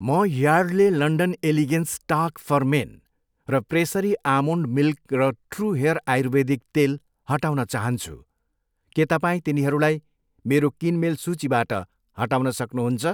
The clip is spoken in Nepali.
म Yardley London elegance talc for men, र प्रेसरी आमोन्ड मिल्क र ट्रू हेयर आयुर्वेदिक तेल हटाउन चाहन्छु, के तपाईँ तिनीहरूलाई मेरो किनमेल सूचीबाट हटाउन सक्नुहुन्छ?